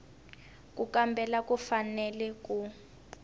ku kambela u fanele ku